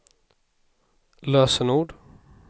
lösenord